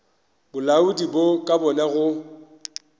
bolaodi bo ka bona go